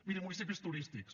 miri municipis turístics